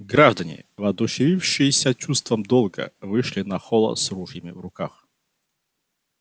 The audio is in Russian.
граждане воодушевившиеся чувством долга вышли на холла с ружьями в руках